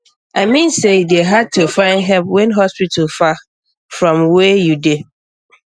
i mean say e dey hard to find help when hospital far um from um where um you dey